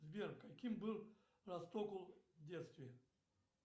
сбер каким был растокл в детстве